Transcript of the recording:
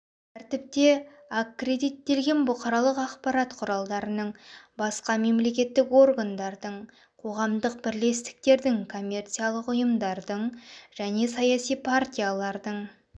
тәртіпте аккредиттелген бұқаралық ақпарат құралдарының басқа мемлекеттік органдардың қоғамдық бірлестіктердің коммерциялық ұйымдардың және саяси партиялардың